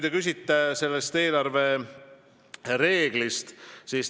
Te küsisite eelarvereeglite kohta.